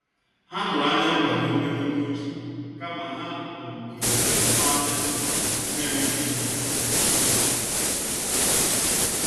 Ha tụrụ anya nkwado mmetụta uche kama ha um zutere atụmanya um na-enweghị isi.